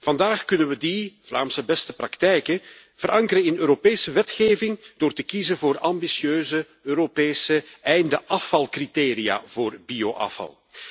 Vandaag kunnen we die Vlaamse beste praktijken verankeren in Europese wetgeving door te kiezen voor ambitieuze Europese einde afvalcriteria voor bioafval.